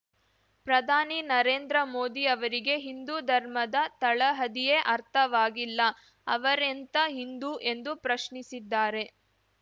ಪ್ರಧಾನಿ ನರೇಂದ್ರ ಮೋದಿ ಅವರಿಗೆ ಹಿಂದೂ ಧರ್ಮದ ತಳಹದಿಯೇ ಅರ್ಥವಾಗಿಲ್ಲ ಅವರೆಂಥಾ ಹಿಂದೂ ಎಂದು ಪ್ರಶ್ನಿಸಿದ್ದಾರೆ